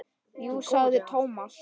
Jú sagði Thomas.